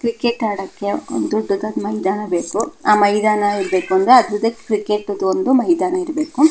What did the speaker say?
Cricket ಆಡಕ್ಕೆ ಒಂದು ದೊಡ್ಡ ಮೈದಾನ ಬೇಕು ಆ ಮೈದಾನ ಬೇಕೆಂದ್ರೆ ಅದ್ರ ಜೊತೆ ಕ್ರಿಕೆಟ್ ಮೈದಾನ ಇರ್ಬೇಕು.